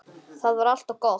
Það var alltaf gott.